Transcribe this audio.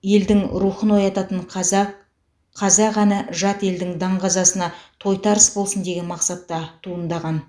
елдің рухын оятатын қазақ қазақ әні жат елдің даңғазасына тойтарыс болсын деген мақсатта туындаған